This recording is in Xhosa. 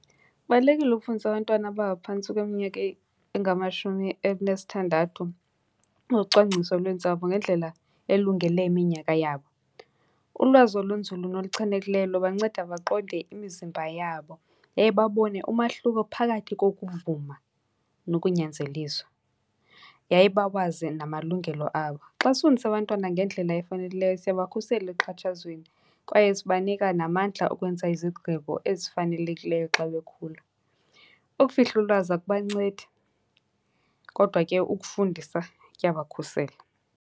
Kubalulekile ukufundisa abantwana abangaphantsi kweminyaka engamashumi elinesithandathu ngocwangciso lweentsapho ngendlela elungele iminyaka yabo. Ulwazi olunzulu noluchanekileyo lubanceda baqonde imizimba yabo yaye babone umahluko phakathi kokuvuma nokunyanzeliswa, yaye bawazi namalungelo abo. Xa sifundisa abantwana ngendlela efanekileyo siyabakhusela ekuxhatshazweni kwaye sibanika namandla okwenza izigqibo ezifanelekileyo xa bekhula. Ukufihla ulwazi akubancedi, kodwa ke ukufundisa kuyabakhusela.